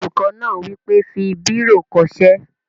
Olùkọ́ náà wí pé, "fi bírò kọ ṣé!"